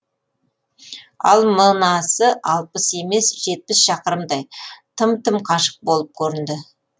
ал мынасы алпыс емес жетпіс шақырымдай тым тым қашық болып көрінді